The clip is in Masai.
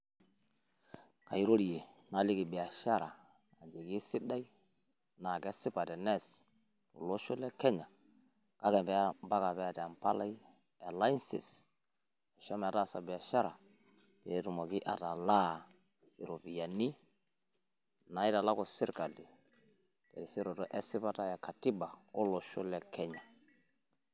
Kairorie naliki biashara, ajoki eisidai naa kesipa teneas tele osho le Kenya. Kake mpaka pee eyata empalai e licence naisho metaasa biashara. Pee etumoki atalaa irropiyiani naitalaku sirkali terisioroto e sipata e katiba o losho le Kenya.